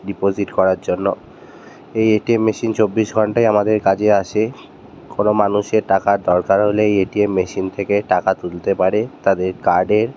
Deposit করার জন্য। এই এটিএম মেশিন চব্বিশ ঘন্টাই আমাদের কাজে আসে কোনো মানুষের টাকার দরকার হলে এই এটিএম মেশিন থেকে টাকা তুলতে পারে তাদের কার্ড এর--